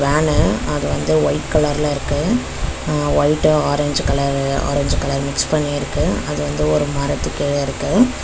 மேல அது வந்து ஒயிட் கலர்ல இருக்கு அ white orange colour orange colour mix பண்ணி இருக்கு அது வந்து ஒரு மரத்துக்கு கீழ இருக்கு.